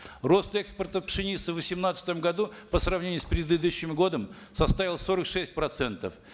рост экспорта пшеницы в восемнадцатом году по сравнению с предыдущим годом составил сорок шесть процентов